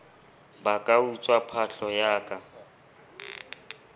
ba ka utswa phahlo ya